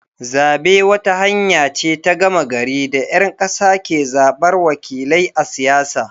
Zabe wata hanya ce ta gama gari da ‘yan kasa ke zabar wakilai a siyasa.